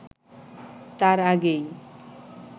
তার আগেই